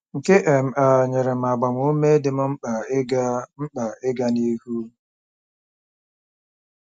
Nke um a nyere m agbamume dị m mkpa ịga mkpa ịga n'ihu.